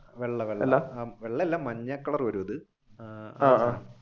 വെള്ള വെള്ള അല്ല മഞ്ഞ കളർ വരും ഇത്